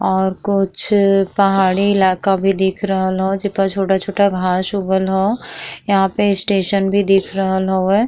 और कुछ अअ पहाड़ी इलाका भी दिख रहल ह जे पे छोटा-छोटा घांस उगल ह यहाँ पे स्टेशन भी दिख रहल हवे।